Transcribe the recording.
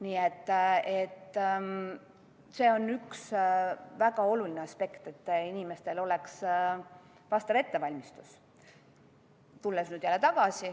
Nii et see on üks väga oluline aspekt, et inimestel oleks vastav ettevalmistus.